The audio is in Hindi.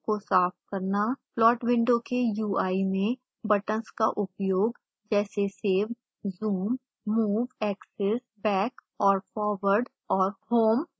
प्लॉट विंडो के ui में बटन्स का उपयोग जैसे save zoom move axis back और forward औरhome